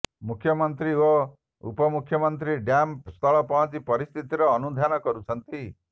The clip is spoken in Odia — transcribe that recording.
ମୁଖ୍ୟମନ୍ତ୍ରୀ ଓ ଉପମଙଖ୍ୟମନ୍ତ୍ରୀ ଡ୍ୟାମ୍ ସ୍ଥଳ ପହଞ୍ଚି ପରିସ୍ଥିତିର ଅନୁଧ୍ୟାନ କରୁଛନ୍ତି